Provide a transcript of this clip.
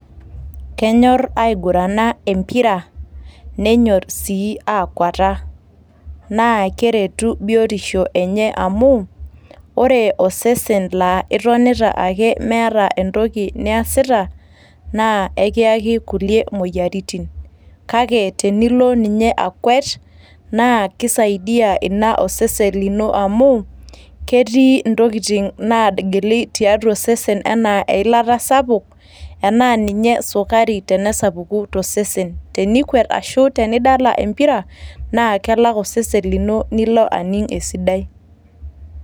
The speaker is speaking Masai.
Kenyorr aigurana empira nenyorr aii aakuata naa keretu biotisho enye amu ore osesen laa etonita ake nemeeta entoki niasita naa kakiyaki kulie moyiaritin, naa teneilo ninye akwet naa keisaidia osesen lino amu ketii entokitin' naagili tiatua osesen enaa eyilata Sapuk, enaa ninye esukari tenesapuku tosesen naa tenidala empira naa kelak osesen lino nilo aning' esidai.